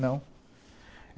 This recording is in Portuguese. Não.